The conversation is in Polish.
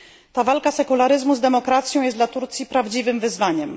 Ta walka sekularyzmu z demokracją jest dla Turcji prawdziwym wyzwaniem.